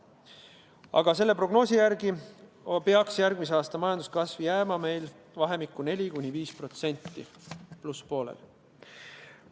Aga selle prognoosi järgi peaks järgmise aasta majanduskasv jääma meil vahemikku 4–5%, plusspoolel.